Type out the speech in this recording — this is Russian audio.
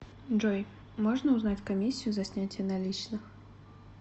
джой можно узнать комиссию за снятие наличных